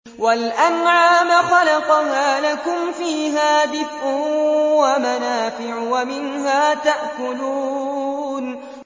وَالْأَنْعَامَ خَلَقَهَا ۗ لَكُمْ فِيهَا دِفْءٌ وَمَنَافِعُ وَمِنْهَا تَأْكُلُونَ